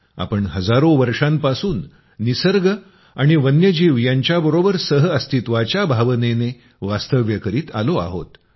आपण हजारों वर्षांपासून निसर्ग आणि वन्यजीव यांच्याबरोबर सहअस्तित्वाच्या भावनेनं वास्तव्य करीत आलो आहोत